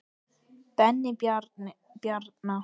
Benni Bjarna.